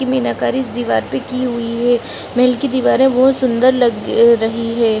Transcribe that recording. मीनाकारी इस दीवार पर की हुई है महल की दीवारें बहुत सुंदर लग रही है।